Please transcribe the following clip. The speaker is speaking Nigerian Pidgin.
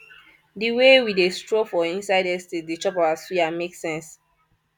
di wey we dey stroll for inside estate dey chop our suya make sense